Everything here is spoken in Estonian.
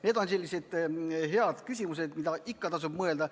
Need on sellised head küsimused, mille üle ikka tasub mõelda.